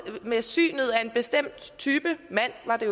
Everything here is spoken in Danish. ved synet af en bestemt type mand var det